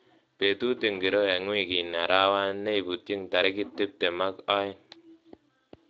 Betut ingiro eng wikini arawani neibutiny tarik tupten ak aeng